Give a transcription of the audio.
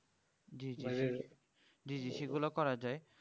জি জি জি জি সে গুলো করা যাই